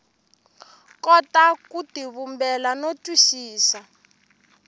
kota ku tivumbela no twisisa